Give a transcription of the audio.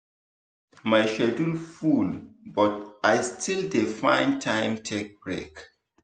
my schedule full but i still dey find time take break.